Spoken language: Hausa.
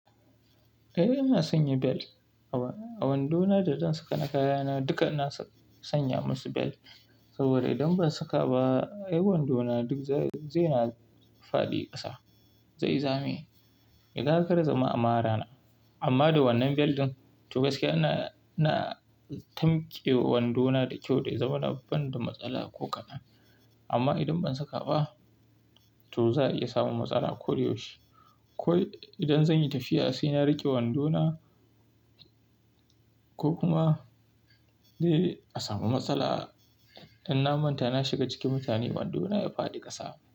Eh ina sanya bel. A wandona da zan saka na kayana duka ina sanya masu bel. Saboda idan ban saka ba, ai wandona duk zai, zai na fadi ƙasa, zai zame. Idan ƙara zama amara na. Amma da wannan bel ɗin, to gaskiya ina tamke wandona da kyau da ya zama na banda matsala ko kana. Amma idan ban saka ba, to za a iya samun matsala ko da yaushe. Ko idan zan yi tafiya sai na riƙe wandona ko kuma a samu matsala, idan na manta na shiga cikin mutane wandona ya fadi ƙasa.